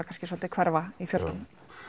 kannski svolítið hverfa í fjöldann já